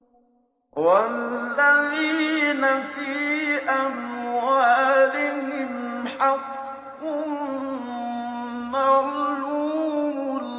وَالَّذِينَ فِي أَمْوَالِهِمْ حَقٌّ مَّعْلُومٌ